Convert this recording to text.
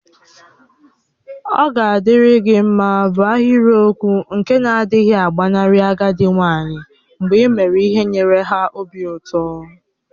Oga adiri gi mma bu ahiriokwụ nke na-adighi agbanarị agadi nwanyi mgbe ị mere ihe nyere ha obi ụtọ.